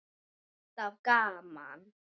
Alltaf gaman.